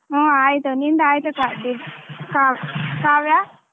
ಹು ಆಯ್ತು ನಿಂದ ಆಯ್ತಾ ಕಾ~ ಕಾ~ ಕಾವ್ಯ.